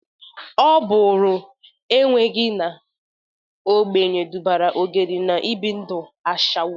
Ọ bụrụ enweghi na ogbenye dubara Ogeri n'ibi ndu ashawo.